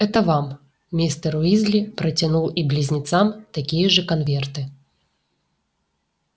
это вам мистер уизли протянул и близнецам такие же конверты